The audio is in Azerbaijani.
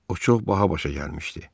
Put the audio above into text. O çox baha başa gəlmişdi.